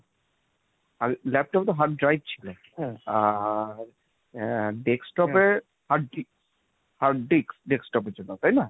আর laptop এ তো hard drive ছিল আর আহ desktop এ hard disc। hard disc, desktop এর জন্য তাই না?